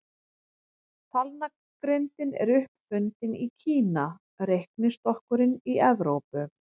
Talnagrindin er upp fundin í Kína, reiknistokkurinn í Evrópu.